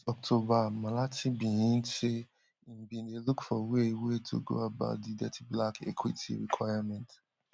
last october malatsi bin hint say im bin dey look for way way to go about di thirty black equity requirement